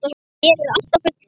Hér er allt á fullu.